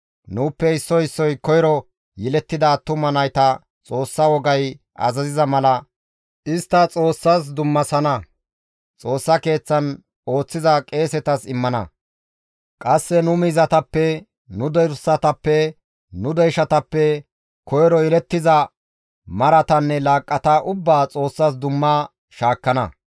«Nuuppe issoy issoy koyro yelettida attuma nayta Xoossa wogay azaziza mala istta Xoossas dummasana; Xoossa Keeththan ooththiza qeesetas immana; qasse nu miizatappe, nu dorsatappe, nu deyshatappe koyro yelettiza maratanne laaqqata ubbaa Xoossas dumma shaakkana.